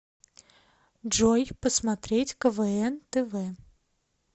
джой посмотреть квн тв